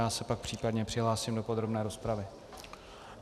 Já se pak případně přihlásím do podrobné rozpravy.